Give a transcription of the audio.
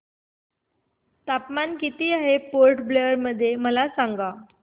तापमान किती आहे पोर्ट ब्लेअर मध्ये मला सांगा